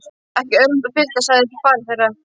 Ekki örvænta piltar, sagði faðir þeirra.